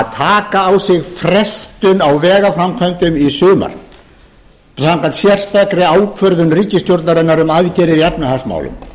taka á sig frestun á vegaframkvæmdum í sumar samkvæmt sérstakri ákvörðun ríkisstjórnarinnar um aðgerðir í efnahagsmálum